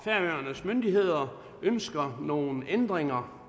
færøernes myndigheder ønsker nogle ændringer